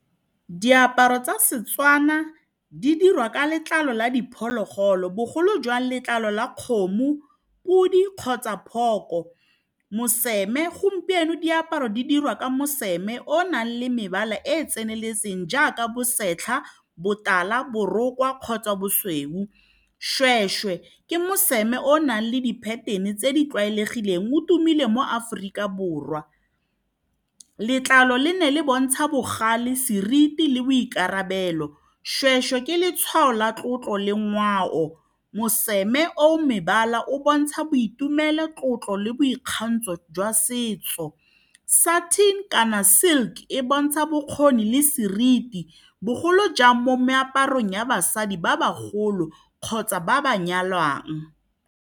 Diaparo tsa seTswana di dirwa ka letlalo la diphologolo, bogolo jang letlalo la kgomo, podi kgotsa phooko. Moseme gompieno, diaparo di dirwa ka moseme mme o nang le mebala e e tseneletseng jaaka bosetlha, botala, borokgwa kgotsa bosweu. Seshweshwe ke mosime o nang le di-pattern-e tse di tlwaelegileng. O tumile mo Aforika Borwa. Letlalo le ne le bontsha bogale, seriti le boikarabelo. Seshweshwe ke letshwao la tlotlo le ngwao. Moseme o mebala o bontsha boitumelo, tlotlo le boikgantsho jwa setso. Satin kana silk e bontsha bokgoni le seriti, bogolo jang mo meaparong ya basadi ba ba golo kgotsa ba ba nyalwang.